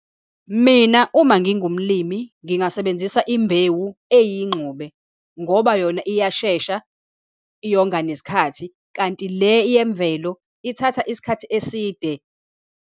Mina, uma ngingumlimi ngingasebenzisa imbewu eyingxube ngoba yona iyashesha, iyonga nesikhathi. Kanti le yemvelo ithatha isikhathi eside.